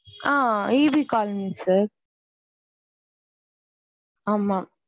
Ah EB colony sir.